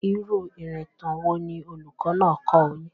Irú ìrìntàn wo ni olùkọ́ náà kọ́ ọ yín?